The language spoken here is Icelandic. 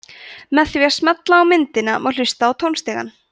með því að smella á myndina má hlusta á tónstigann